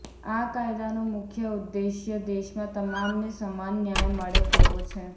આ કાયદાનો મુખ્ય ઉદ્દેશ્ય દેશમાં તમામને સમાન ન્યાય મળે તેવો છે